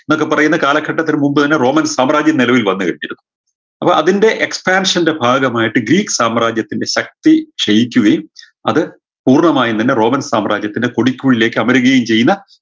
എന്നൊക്കെ പറയുന്ന കാലഘട്ടത്തിന് മുമ്പ് തന്നെ റോമൻ സാമ്രാജ്യം നിലവിൽ വന്ന് കഴിഞ്ഞിരുന്നു അപ്പൊ അതിൻറെ expansion ൻറെ ഭാഗമായിട്ട് ഗ്രീക്ക് സാമ്രാജ്യത്തിൻറെ ശക്തി ക്ഷയിക്കുകയും അത് പൂർണമായും തന്നെ റോമൻ സാമ്രാജ്യത്തിനെ കൊടിക്കുഴിയിലേക്ക് അമരുകയും ചെയ്യുന്ന